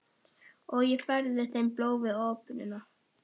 Og ég færði þeim blóm við opnunina.